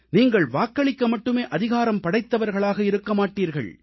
நீங்கள் வாக்களிக்க மட்டுமே அதிகாரம் படைத்தவர்களாக இருக்க மாட்டீர்கள்